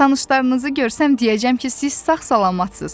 tanışlarınızı görsəm deyəcəm ki, siz sağ salamatçısınız.